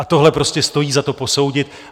A tohle prostě stojí za to posoudit.